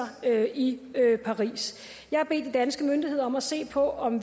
i paris jeg har bedt de danske myndigheder om at se på om